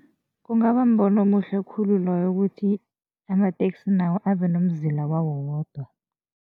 Kungaba mbono omuhle khulu loyo ukuthi amateksi nawo abe nomzila wawo wodwa.